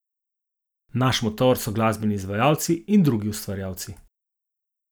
Naš motor so glasbeni izvajalci in drugi ustvarjalci.